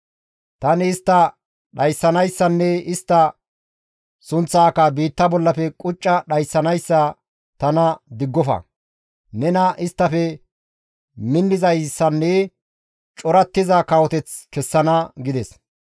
Tani istta dhayssanayssanne istta sunththaaka biitta bollafe qucca dhayssanayssa tana diggofa; nena isttafe minnizayssanne corattiza kawoteth kessana» gides.